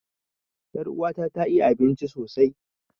Er'uwa ta ta iya abinci sosai.